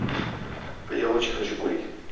я очень хочу курить